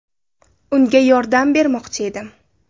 Unga yordam bermoqchi edim.